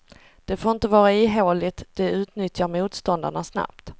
Det får inte vara ihåligt, det utnyttjar motståndarna snabbt.